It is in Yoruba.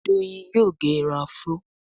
Doyin yóò gé Irun afro.